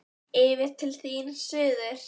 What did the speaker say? Yfir til þín, suður.